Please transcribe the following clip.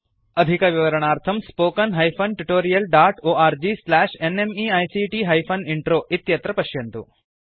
अधिकविवरणार्थं spoken hyphen tutorial dot org slash NMEICT hyphen intro इत्यत्र पश्यन्तु